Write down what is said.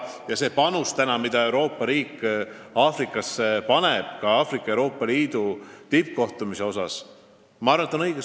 Ma arvan, et see, mida Euroopa Liit Aafrikasse panustab, sh ka Aafrika ja Euroopa Liidu tippkohtumisi korraldades, on vajalik.